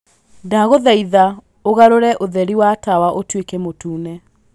ndagũthaitha ũgarũre ũtheri wa tawa ũtuĩke mũtune.